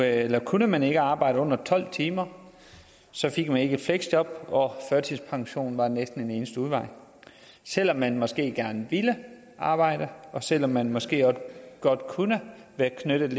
at kunne man ikke arbejde under tolv timer fik man ikke et fleksjob og førtidspension var næsten den eneste udvej selv om man måske gerne ville arbejde og selv om man måske også godt kunne være lidt